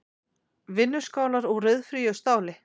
Vinnuskálar úr ryðfríu stáli.